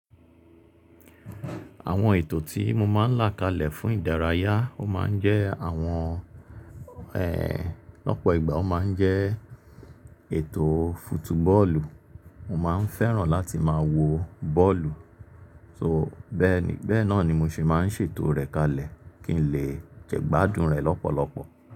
Àwọn ètò tí mo máa ń là kalẹ̀ fún ìdárayá, ó máa ń jẹ́ àwọn, lọ́pọ̀ ìgbà ó máa ń jẹ́ ètò fútúbọ́ọ̀lù. Mo máa ń fẹ́ràn láti máa wo bọ́ọ̀lù, so bẹ́ẹ̀ ni, bẹ́ẹ̀ náà ni mo sì máa ń ṣètò rẹ̀ kalẹ̀ kí n lè jẹ́ gbádùn rẹ̀ lọ́pọ̀lọpọ̀.